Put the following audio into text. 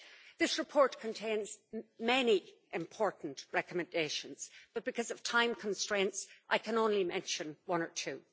This report contains many important recommendations, but because of time constraints I can only mention one or two.